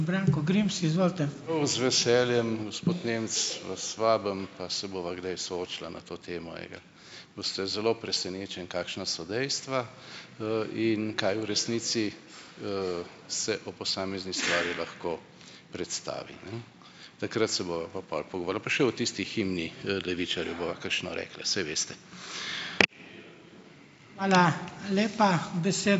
Prav z veseljem, gospod Nemec, vas vabim pa se bova kdaj soočila na to temo, ejga. Boste zelo presenečeni, kakšna so dejstva, in kaj v resnici, se o posamezni stvari lahko predstavi, ne. Takrat se bova pa pol pa še o tisti himni, levičarjev bova kakšno rekla, saj veste.